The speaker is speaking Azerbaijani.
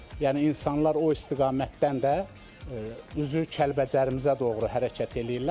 Yəni insanlar o istiqamətdən də üzü Kəlbəcərimizə doğru hərəkət eləyirlər.